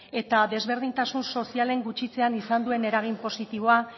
eta desberdintasun sozialen gutxitzean izan duen eragin positiboa